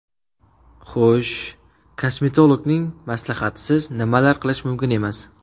Xush , kosmetologning maslahatisiz nimalar qilish mumkin emas?